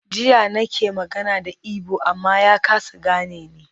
Jiya nake magana da Igbo amma ya kasa gane ni.